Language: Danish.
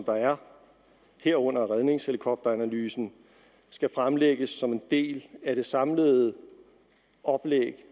der er herunder redningshelikopteranalysen skal fremlægges som en del af det samlede oplæg